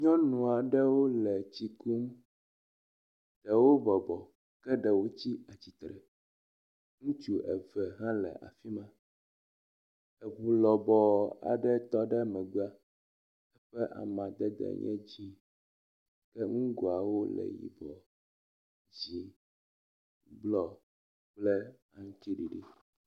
Nyɔnu aɖewo le tsi kum, ɖewo bɔbɔ, ɖewo tsi atsitre. Ŋutsu eve hã le afi ma. Eŋu lɔbɔɔ aɖe tɔ megbe eƒe amadede le dzĩ ke ŋgoawo le yibɔ, dzĩ, blɔ kple aŋtsiɖiɖi.